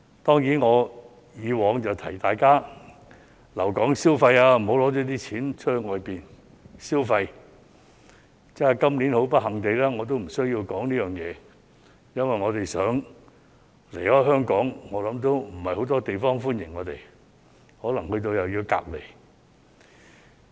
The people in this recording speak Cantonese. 當然，我以往會提醒大家留港消費，不要把錢拿到外地消費；但是，今年很不幸地我無須提醒大家，因為我們想離開香港，也沒有很多國家歡迎我們，可能抵達後又要被隔離。